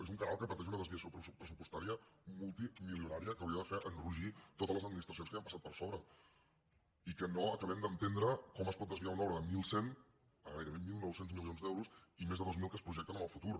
és un canal que pateix una desviació pressupostària multimilionària que hauria de fer enrogir totes les administracions que hi han passat per sobre i que no acabem d’entendre com es pot desviar una obra de mil cent a gairebé mil nou cents milions d’euros i més de dos mil que es projecten en el futur